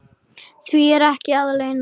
Því er ekki að leyna.